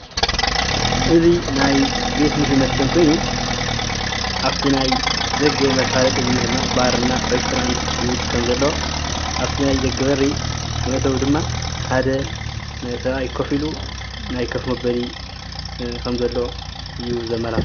እዚ ናይ ቤት ምግብን መስተን ኮይኑ አፍቲ ናይ ደገ መፍለጢ ድማ ባር ና ሬስቶራንት ዝብል ከም ዘለዎ ኣፋቲ ናይ ደገ በሪ መእተዊ ድማ ሓደ ሰብአይ ኮፍ ኢሉ ናይ ከፍ መበሊ ከም ዘሎ እዪ ዘመላኽት::